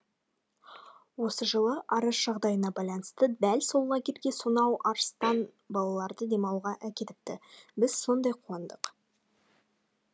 осы жылы арыс жағдайына байланысты дәл сол лагерьге сонау арыстан балаларды демалтуға әкетіпті біз сондай қуандық